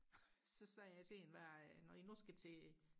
så sagde jeg til hende hvad når I nu skal til